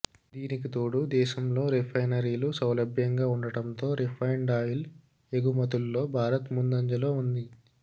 దీనికి తోడు దేశంలో రిఫైనరీలు సౌలభ్యంగా ఉండటంతో రిఫైన్డ్ ఆయిల్ ఎగుమతుల్లో భారత్ ముందంజలో ఉంది